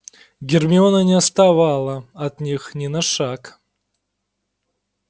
гермиона не отставала от них ни на шаг